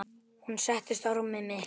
Hún settist á rúmið mitt.